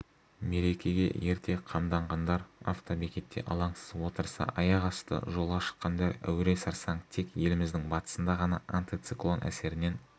мерекеге ерте қамданғандар автобекетте алаңсыз отырса аяқасты жолға шыққандар әуре-сарсаң тек еліміздің батысында ғана антициклон әсерінен